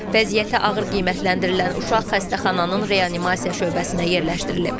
Vəziyyəti ağır qiymətləndirilən uşaq xəstəxananın reanimasiya şöbəsinə yerləşdirilib.